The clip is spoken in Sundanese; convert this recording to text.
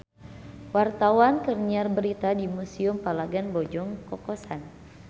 Wartawan keur nyiar berita di Museum Palagan Bojong Kokosan